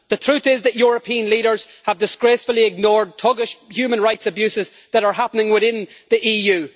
The truth is that European leaders have disgracefully ignored thuggish human rights abuses that are happening within the EU.